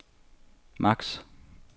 max